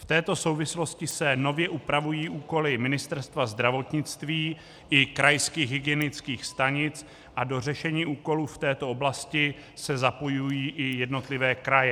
V této souvislosti se nově upravují úkoly Ministerstva zdravotnictví i krajských hygienických stanic a do řešení úkolu v této oblasti se zapojují i jednotlivé kraje.